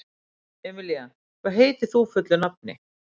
Emelía, hvað heitir þú fullu nafni?